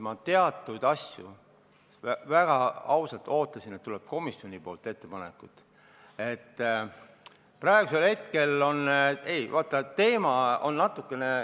Ma pean väga ausalt tunnistama, et ma ootasin, et komisjonilt tuleb ettepanekuid.